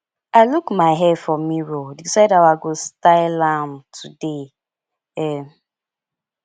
i look my hair for mirror decide how i go style am today um